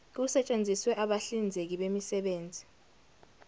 kusetshenziswe abahlinzeki bemisebenzi